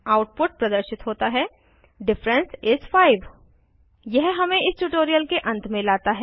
output प्रदर्शित होता है डिफ इस 5 यह हमें इस ट्यूटोरियल के अंत में लाता है